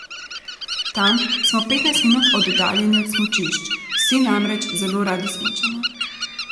Tam smo petnajst minut oddaljeni od smučišč, vsi namreč zelo radi smučamo.